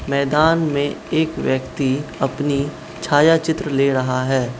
मैदान में एक व्यक्ति अपनी छाया चित्र ले रहा है।